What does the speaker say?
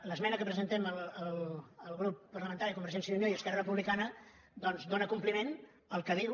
l’esmena que presentem el grup parlamentari de convergència i unió i esquerra republicana doncs dóna compliment al que diu